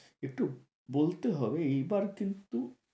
একটু বলতে হবে এইবার কিন্তু